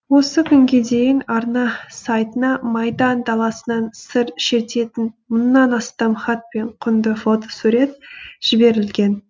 осы күнге дейін арна сайтына майдан даласынан сыр шертетін мыңнан астам хат пен құнды фотосурет жіберілген